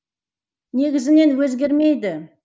негізінен өзгермейді